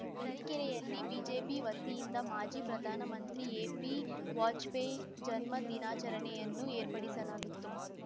ತರೀಕೆರೆಯಲ್ಲಿ ಬಿಜೆಪಿ ವತಿಯಿಂದ ಮಾಜಿ ಪ್ರಧಾನ ಮಂತ್ರಿ ಎಬಿ ವಾಜ್ಪೇಯಿ ಜನ್ಮ ದಿನಾಚರಣೆಯನ್ನು ಏರ್ಪಡಿಸಲಾಗಿತ್ತು